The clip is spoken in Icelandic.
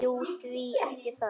Jú, því ekki það?